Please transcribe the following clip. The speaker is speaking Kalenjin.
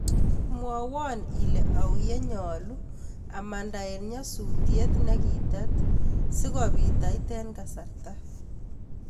Mwawan ile au yenyalu amanda en nyasutiet nigitet sigopit ait en kasarta